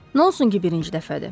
Nə olsun ki, birinci dəfədir?